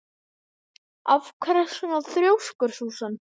Af hverju ertu svona þrjóskur, Súsan?